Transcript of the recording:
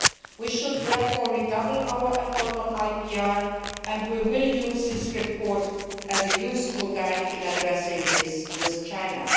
We should therefore redouble our efforts on IPR and we will use this report as a useful guide in addressing this with China.